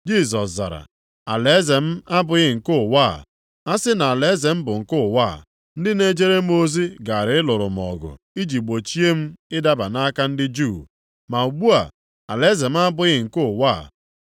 Jisọs zara, “Alaeze m abụghị nke ụwa a. A sị na alaeze m bụ nke ụwa a, ndị na-ejere m ozi gaara ịlụrụ m ọgụ iji gbochie m ịdaba nʼaka ndị Juu. Ma ugbu a, alaeze m abụghị nke ụwa a.”